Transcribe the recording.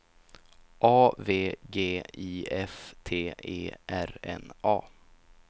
A V G I F T E R N A